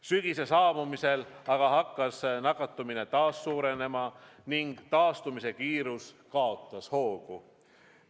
Sügise saabumisel aga hakkas nakatumine taas suurenema ning taastumise kiirus kaotas hoogu.